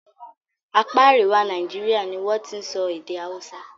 Apá àríwá Nàíjíríà ni wọ́n ti n sọ èdè Hausa.